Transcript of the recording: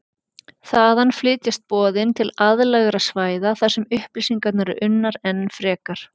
Þaðan flytjast boðin til aðlægra svæða þar sem upplýsingarnar eru unnar enn frekar.